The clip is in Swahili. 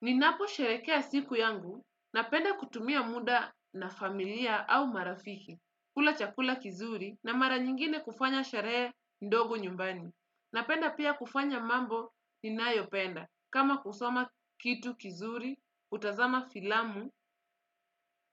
Ninapo sherekea siku yangu na penda kutumia muda na familia au marafiki. Kula chakula kizuri na mara nyingine kufanya sheree ndogo nyumbani. Napenda pia, kufanya mambo ni nayopenda. Kama kusoma kitu kizuri, kutazama filamu,